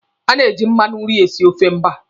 A na-eji mmanụ nri esi ofe mba.